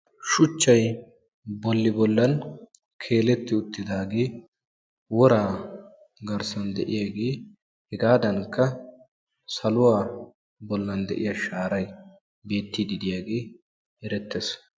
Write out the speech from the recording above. Shuchchay bolli bollan keeletti uttidaagee woraa garsdan de'iyagee, hegaadankka saluwa bollan de'iya shaaray beettiiddi diyagee erettees.